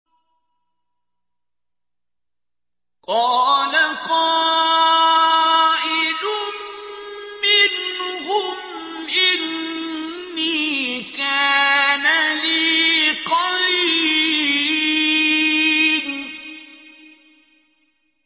قَالَ قَائِلٌ مِّنْهُمْ إِنِّي كَانَ لِي قَرِينٌ